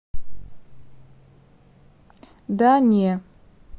да не